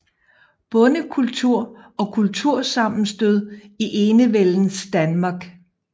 Bondekultur og kultursammenstød i enevældens Danmark